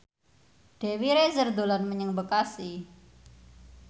Dewi Rezer dolan menyang Bekasi